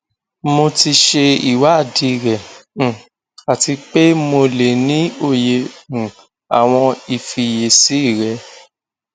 mo ti ṣe iwadii rẹ um ati pe mo le ni oye um awọn ifiyesi rẹ